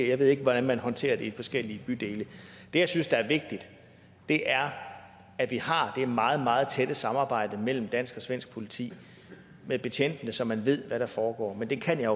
jeg ved ikke hvordan man håndterer det i forskellige bydele det jeg synes er vigtigt er at vi har det meget meget tætte samarbejde mellem dansk og svensk politi med betjentene så man ved hvad der foregår men det kan jeg